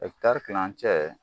kilancɛ